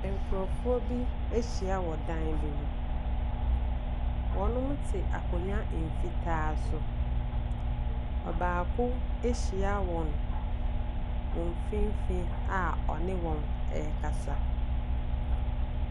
Nkrɔfoɔ bi ahyia wɔ dan bi mu. Wɔte akonnwa mfitaa so. Ɔbaako ahyia wɔn. Wɔn mfimfin a ɔne wɔn a ɔne wɔn rekasa.